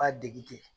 B'a dege ten